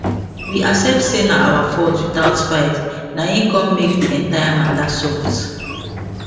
we accept say na our fault without fight na hin con make the entire mata soft